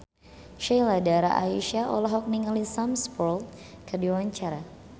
Sheila Dara Aisha olohok ningali Sam Spruell keur diwawancara